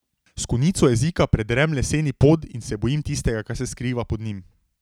S konico jezika predrem leseni pod in se bojim tistega, kar se skriva pod njim.